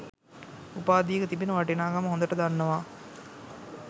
උපාධියක තිබෙන වටිනාකම හොඳට දන්නවා.